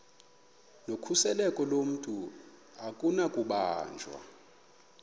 nokhuseleko lomntu akunakubanjwa